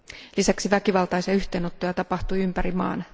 Lisäksi väkivaltaisia yhteenottoja tapahtui ympäri maan.